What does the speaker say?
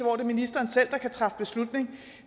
er ministeren selv der kan træffe beslutning